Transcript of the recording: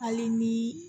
Hali ni